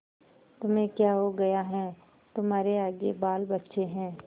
तुम्हें क्या हो गया है तुम्हारे आगे बालबच्चे हैं